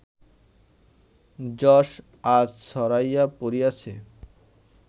যশ আজ ছড়াইয়া পড়িয়াছে